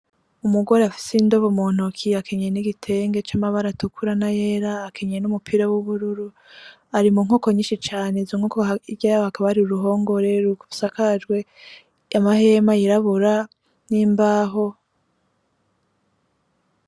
Umugore afise indobo muntoki. Akeneye n'igitenge c'amabara atukura n'ayera. Akenyeye n'umupira w'ubururu. Ari mu nkoko nyinshi cane . Izo nkoko hirya yaho hakaba hari uruhongore rusakajwe amahema yirabura n'imbaho.